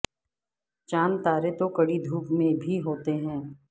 چاند تارے تو کڑی دھوپ میں بھی ہوتے ہیں